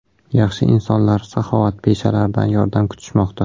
Yaxshi insonlar, saxovatpeshalardan yordam kutishmoqda!